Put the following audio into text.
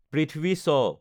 Prithvi শৱ